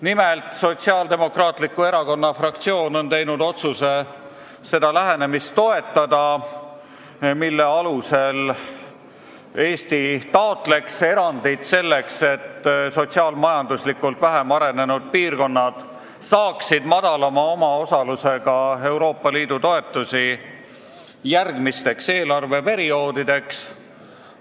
Nimelt, Sotsiaaldemokraatliku Erakonna fraktsioon on teinud otsuse toetada seda lähenemist, et Eesti taotleks erandit, selleks et sotsiaal-majanduslikult vähem arenenud piirkonnad saaksid järgmisteks eelarveperioodideks Euroopa Liidu toetusi väiksema omaosalusega.